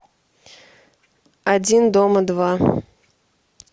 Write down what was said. один дома два